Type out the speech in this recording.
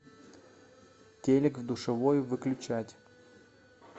телик в душевой выключать